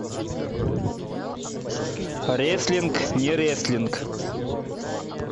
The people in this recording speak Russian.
реслинг не реслинг